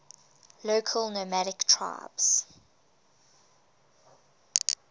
local nomadic tribes